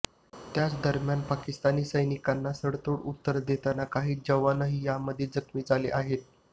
त्याच दरम्यान पाकिस्तानी सैनिकांना सडेतोड उत्तर देताना काही जवानही यामध्ये जखमी झाले आहेत